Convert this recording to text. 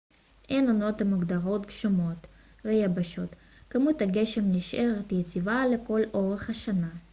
אין עונות המוגדרות גשומות ו יבשות כמות הגשם נשארת יציבה לכל אורך השנה